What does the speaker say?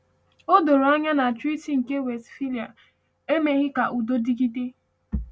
O doro anya na Treaty nke Westphalia emeghị ka udo dịgide.